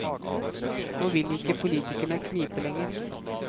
Nå vil ikke politikerne knipe lenger.